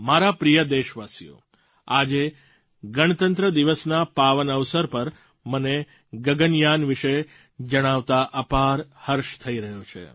મારા પ્રિય દેશવાસીઓ આજે ગણતંત્ર દિવસના પાવન અવસર પર મને ગગનયાન વિશે જણાવતાં અપાર હર્ષ થઈ રહ્યો છું